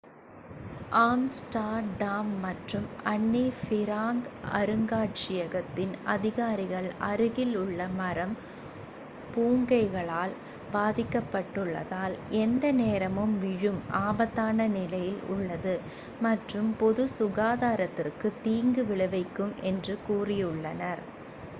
Amsterdam மற்றும் Anne Frank அருங்காட்யகத்தின் அதிகாரிகள் அருகில் உள்ள மரம் பூஞ்கைகளால் பாதிக்கப்பட்டுள்ளதால் எந்த நேரமும் விழும் ஆபத்தான நிலையில் உள்ளது மற்றும் பொது சுகாரதிற்கு தீங்கு விளைவிக்கும் என்று கூறியுள்ளனர்